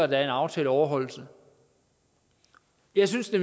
der er en aftaleoverholdelse jeg synes det